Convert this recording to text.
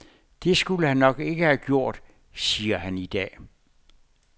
Det skulle han nok ikke have gjort, siger han i dag.